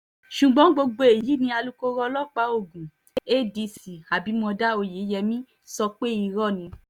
ṣùgbọ́n gbogbo èyí ni alūkkoro ọlọ́pàá ogun cs] adc abimodá oyeyèmí sọ pé irọ́ ni